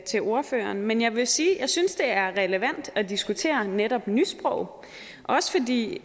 til ordføreren men jeg vil sige at jeg synes det er relevant at diskutere netop nysprog også fordi